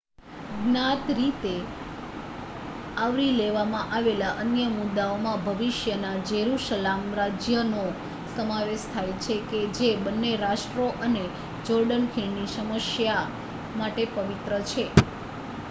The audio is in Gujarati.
જ્ઞાત રીતે આવરી લેવામાં આવેલા અન્ય મુદાઓમાં ભવિષ્યના જેરુસલામ રાજ્યનો સમાવેશ થાય છે કે જે બંને રાષ્ટ્રો અને જોર્ડન ખીણની સમસ્યા માટે પવિત્ર છે